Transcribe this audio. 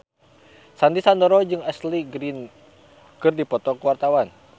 Sandy Sandoro jeung Ashley Greene keur dipoto ku wartawan